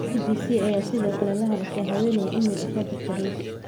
BBC ayaa sidoo kale la hadashay haweeney email u soo dirtay Rose.